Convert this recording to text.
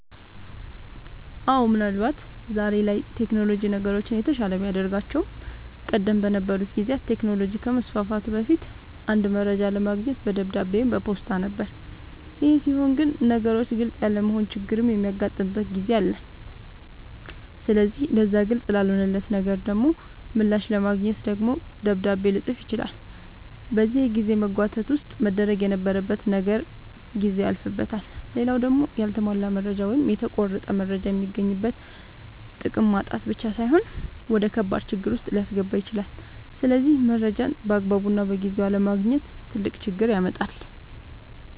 አወ ምን አልባት ዛሬ ላይ ቴክኖሎጅ ነገሮችን የተሻለ ቢያደርጋቸውም ቀደም በነበሩ ጊዜያት ቴክኖሎጅ ከመስፋፋቱ በፊት አንድ መረጃ ለማግኘት በደብዳቤ ወይም በፖስታ ነበር ይሄ ሲሆን ግን ነገሮች ግልፅ ያለመሆን ችግርም የሚያጋጥምበት ጊዜ አለ ስለዚህ ለዛ ግልፅ ላልሆነለት ነገር ደሞ ምላሽ ለማግኘት ደግሞ ደብዳቤ ልፅፍ ይችላል በዚህ የጊዜ መጓተት ውስጥ መደረግ የነበረበት ነገር ጊዜው ያልፍበታል። ሌላው ደሞ ያልተሟላ መረጃ ወይም የተቆረጠ መረጃ የሚገኝበትን ጥቅም ማጣት ብቻ ሳይሆን ወደከባድ ችግር ዉስጥ ሊያስገባ ይችላል ስለዚህ መረጃን ባግባቡና በጊዜው አለማግኘት ትልቅ ችግር ያመጣል